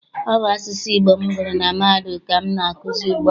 Ọ bụ asụsụ Igbo m gụrụ na mahadum ka m na-akụzi ugbu a.